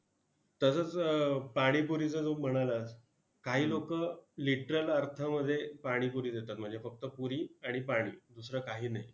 तसंच पाणीपुरीचं तू म्हणालास काही लोकं literal अर्थामध्ये पाणीपुरी देतात म्हणजे फक्त पुरी आणि पाणी दुसरं काही नाही!